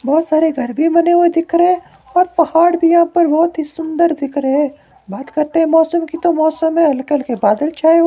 बहोत सारे घर भी बने हुए दिख रहे हैं और पहाड़ भी यहां पर बहोत ही सुंदर दिख रहे है बात करते हैं मौसम की तो मौसम है हल्के हल्के बादल छाये--